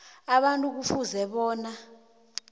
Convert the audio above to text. abantu kufuze bona